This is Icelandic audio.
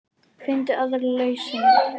Finndu aðra lausn.